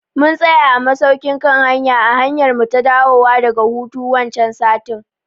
Mun tsaya a masaukin kan hanya a hanyarmu ta dawowa daga hutu wancan satin